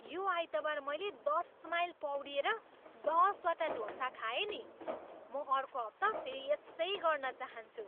यो आइतबार मैले दस माइल पौडिएर दसवटा डोसा खाएँ नि। म अर्को हप्ता फेरि यसै गर्न चाहन्छु।